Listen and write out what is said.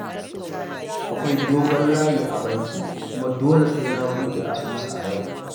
Akwai dogon layi a banki, kuma dole sai na buɗe asusu a yau